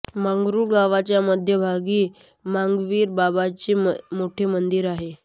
मंगरूळ गावाच्या मध्यभागी मांगवीर बाबाचे मोठे मंदिर आहे